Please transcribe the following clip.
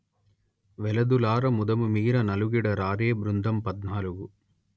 వెలదులార ముదముమీర నలుగిడ రారే బృందంపధ్నాలుగు